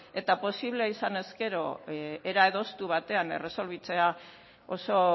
eta posiblea izan ezkero era adostu batean erresolbitzea oso